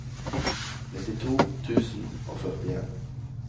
nittito tusen og førtien